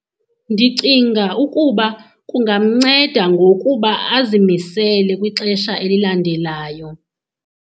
Ndicinga ukuba kungamnceda ngokuba azimisele kwixesha elilandelayo.